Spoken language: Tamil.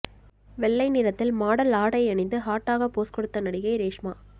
வெள்ளை நிறத்தில் மாடல் ஆடை அணிந்து ஹாட்டாக போஸ் கொடுத்த நடிகை ரேஷ்மா